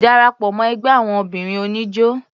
Darapọ̀ mọ́ ẹgbẹ́ àwọn obìnrin oníjó.